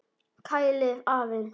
Kælið aðeins.